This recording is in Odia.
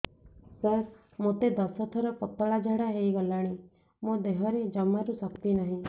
ସାର ମୋତେ ଦଶ ଥର ପତଳା ଝାଡା ହେଇଗଲାଣି ମୋ ଦେହରେ ଜମାରୁ ଶକ୍ତି ନାହିଁ